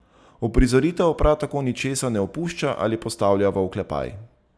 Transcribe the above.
Uprizoritev prav tako ničesar ne opušča ali postavlja v oklepaj.